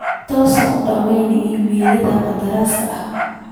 tus dhammaan iimayllada qandaraaska